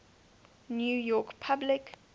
new york public